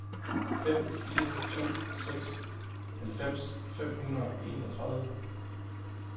fem fire to seks halvfems fem hundrede og enogtredive